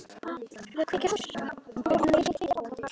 Sveinberg, lækkaðu í græjunum.